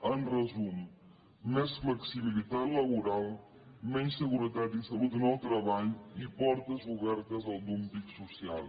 en resum més flexibilitat laboral menys seguretat i salut en el treball i portes obertes al dúmping social